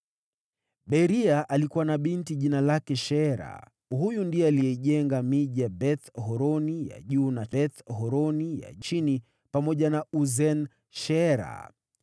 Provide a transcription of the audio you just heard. Beria alikuwa na binti jina lake Sheera. Huyu ndiye aliijenga miji ya Beth-Horoni ya Juu na Beth-Horoni ya Chini, pamoja na Uzen-Sheera.